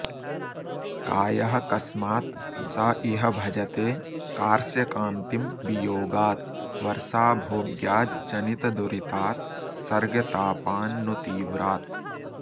कायः कस्मात् स इह भजते कार्श्यकान्तिं वियोगाद् वर्षाभोग्याज्जनितदुरितात् सर्गतापान्नु तीव्रात्